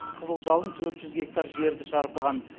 қызыл жалын төрт жүз гектар жерді шарпыған